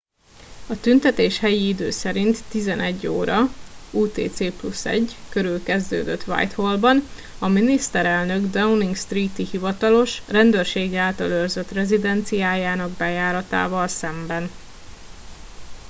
a tüntetés helyi idő szerint 11:00 óra utc+1 körül kezdődött whitehallban a miniszterelnök downing street-i hivatalos rendőrség által őrzött rezidenciájának bejáratával szemben